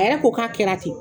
A yɛrɛ ko k'a kɛra ten.